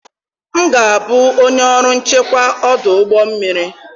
M ga-abụ onye ọrụ nchekwa ọdụ ụgbọ mmiri.